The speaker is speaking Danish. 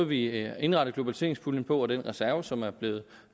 vi indrettede globaliseringspuljen og den reserve som er blevet